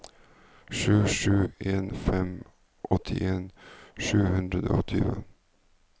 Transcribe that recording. sju sju en fem åttien sju hundre og tjue